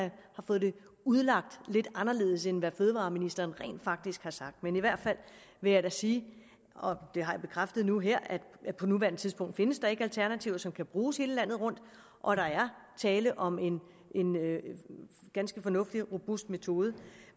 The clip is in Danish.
fået dem udlagt lidt anderledes end hvad fødevareministeren rent faktisk sagde men i hvert fald vil jeg da sige og det har jeg bekræftet nu her at der på nuværende tidspunkt ikke findes alternativer som kan bruges hele landet rundt og at der er tale om en ganske fornuftig og robust metode